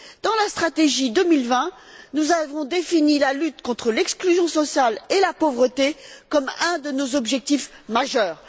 Dans la stratégie 2020, nous avons défini la lutte contre l'exclusion sociale et la pauvreté comme un de nos objectifs majeurs.